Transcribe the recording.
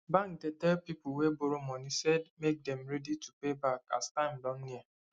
bank dey tell people wey borrow money say make dem ready to pay back as time don near